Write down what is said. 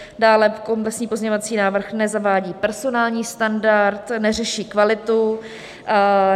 Dále komplexní pozměňovací návrh nezavádí personální standard, neřeší kvalitu.